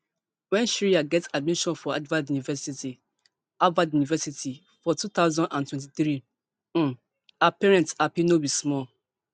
wen shreya get admission to harvard university harvard university for two thousand and twenty-three um her parents happy no be small